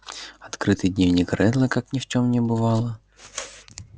открытый дневник реддла как ни в чем не бывало